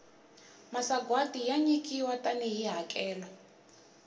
masagwati ya nyikiwa tani hi hakelo